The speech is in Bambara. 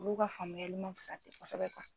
Olu ka faamuya ma fisa te kosɛbɛ ten.